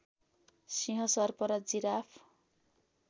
सिंह सर्प र जिराफ